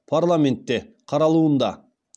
парламентте қаралуында